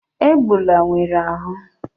Egbula Ngwere ahu!